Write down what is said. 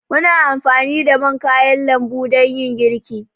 Muna anfani da man kayan lambu dan yin girki.